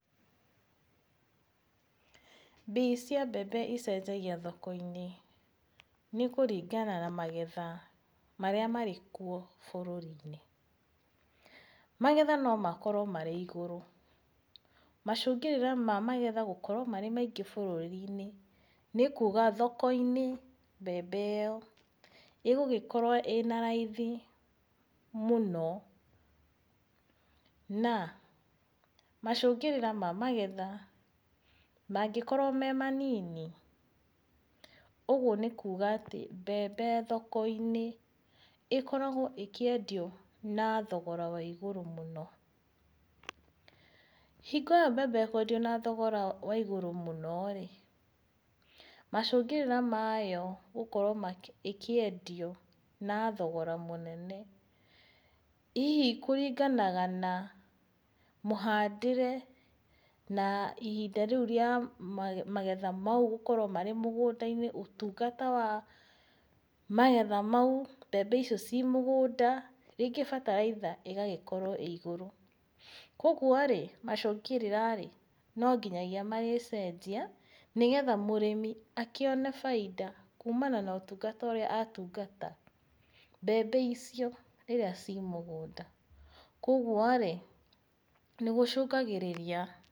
Mbei cia mbembe icenjagia thoko-inĩ nĩ kũringana na megetha marĩa marĩkuo bũrũri-inĩ. Magetha no makorwo marĩ igũrũ. Macũngĩrĩra ma magetha gũkorwo marĩ maingĩ bũrũri-inĩ, nĩ kuga thoko-inĩ mbembe ĩyo ĩgũgĩkorwo ĩna raithi mũno, na macũngĩrĩra ma magetha mangĩkorwo me manini, ũguo nĩ kuga atĩ mbembe thoko-inĩ ĩkoragwo ĩkĩendio na thogora wa igũrũ mũno. Hingo ĩyo mbembe ĩkwendio na thogora wa igũrũ mũno-rĩ, macũngĩrĩra mayo gũkorwo ĩkĩendio na thogora mũnene, hihi kũringanaga na mũhandĩre na ihinda rĩu rĩa magetha mau gũkorwo marĩ mũgũnda-inĩ, ũtungata wa magetha mau, mbembe icio ciĩ mũgũnda, rĩngĩ bataraitha ĩgagĩkorwo ĩ igũrũ, kuoguo-rĩ macũngĩrĩra-rĩ, no nginyagia mangĩcenjia nĩgetha mũrĩmi akĩone bainda kumana na ũtungata ũrĩa atungata mbembe icio rĩrĩa ciĩ mũgũnda, kuoguo-rĩ nĩgũcũngagĩrĩria.